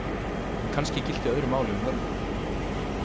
En kannski gilti öðru máli um völvur.